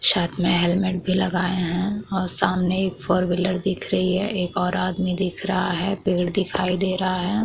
साथ में हेलमेट भी लगाऐ है और सामने एक फोर व्हीलर दिख रही है एक और आदमी दिख रहा है पेड़ दिखाई दे रहा है।